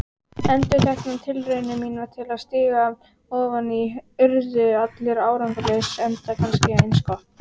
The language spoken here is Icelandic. Endurteknar tilraunir mínar til að stíga ofan í urðu allar árangurslausar, enda kannski eins gott.